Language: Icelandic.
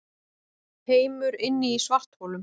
Heimur inni í svartholum